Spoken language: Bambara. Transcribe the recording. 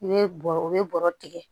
I bɛ bɔrɔ u bɛ bɔrɔ tigɛ